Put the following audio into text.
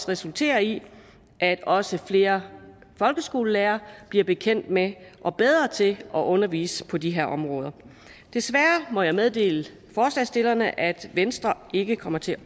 resultere i at også flere folkeskolelærere bliver bekendt med og bedre til at undervise på de her område desværre må jeg meddele forslagsstillerne at venstre ikke kommer til